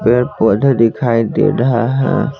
पेड़ पौधे दिखाई दे रहा है ।